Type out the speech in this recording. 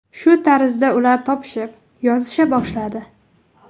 Shu tarzda ular topishib, yozisha boshladi.